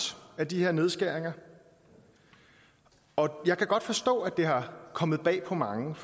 af de her nedskæringer og jeg kan godt forstå at det er kommet bag på mange